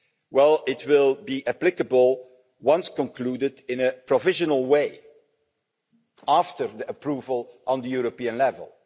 Well, it will be applicable, once concluded, in a provisional way after approval at the European level.